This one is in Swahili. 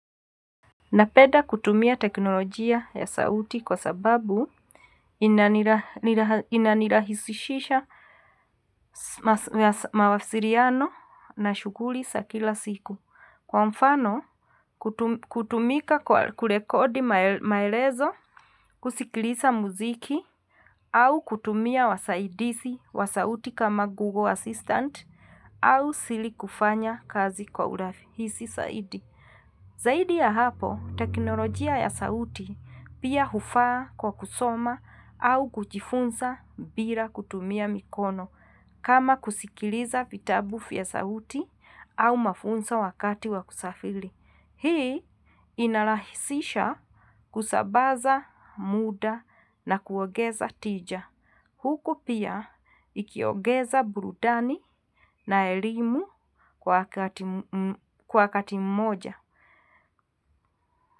Napenda kutumia teknolojia ya sauti kwa sababu inanirahisishia mawasiliano na shughuli za kila siku. Kwa mfano, kutumia kurekodi maelezo kusikiliza muziki au kutumia wasaidizi wa sauti kama Google Assistant au siri kufanya kazi kwa urahisi zaidi. Zaidi ya hapo, teknolojia ya sauti pia hufaa kwa kusoma au kujifunza bila kutumia mikono kama kusikiliza vitabu vya sauti au mafunzo wakati wakusafiri. Hii inarahisisha kusambaza muda na kuongeza tija. Huko pia ikiongeza burudani na elimu kwa wakati mmoja.